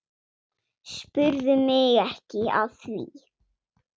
Spurðu mig ekki að því.